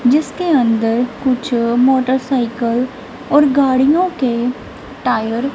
जिसके अंदर कुछ मोटरसाइकिल और गाड़ियों के टायर --